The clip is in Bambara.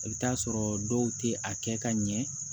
I bɛ t'a sɔrɔ dɔw tɛ a kɛ ka ɲɛ